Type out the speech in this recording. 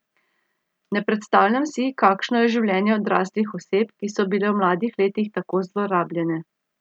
Ne predstavljam si, kakšno je življenje odraslih oseb, ki so bile v mladih letih tako zlorabljene.